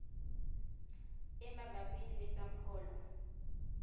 e mabapi le tsa pholo